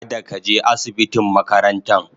kada ka je asibitin makarantan.